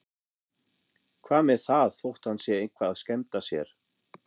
Hvað með það þótt hann sé eitthvað að skemmta sér?